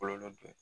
Kɔlɔlɔ dɔ ye